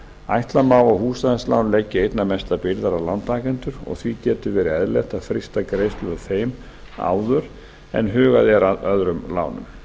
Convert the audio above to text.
ætla má að húsnæðislán leggi einna mestar byrðar á lántakendur og því getur verið eðlilegt að frysta greiðslur af þeim áður en hugað er að öðrum lánum